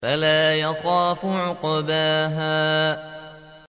وَلَا يَخَافُ عُقْبَاهَا